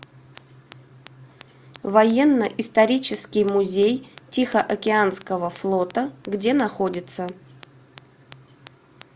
военно исторический музей тихоокеанского флота где находится